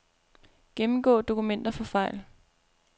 Gennemgå dokumenter for fejl.